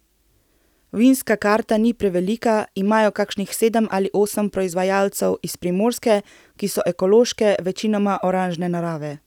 Vinska karta ni prevelika, imajo kakšnih sedem ali osem proizvajalcev iz Primorske, ki so ekološke, večinoma oranžne narave.